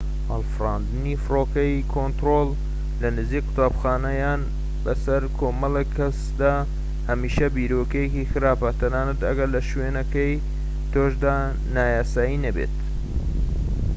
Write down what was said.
هەڵفراندنی فڕۆکەی کۆنترۆل لە نزیك فرۆکەخانە یان بەسەر کۆمەڵێك کەسدا هەمیشە بیرۆکەیەکی خراپە تەنانەت ئەگەر لە شوێنەکەی تۆشدا نایاسایی نەبێت